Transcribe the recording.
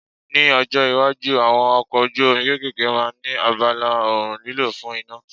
Ní ọjọ́ iwájú, àwọn ọkọ̀ ojú omi kéékèèké máa ní abala oòrùn lílò fún iná.